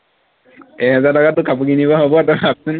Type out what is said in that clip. এহেজাৰ টকাত তোৰ কাপোৰ কিনিব হব তই ভাৱচোন